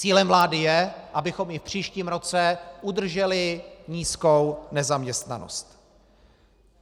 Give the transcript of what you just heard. Cílem vlády je, abychom i v příštím roce udrželi nízkou nezaměstnanost.